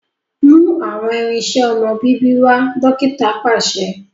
Mú awọn irinṣẹ ọmọ bíbí wá! dókítà paṣẹ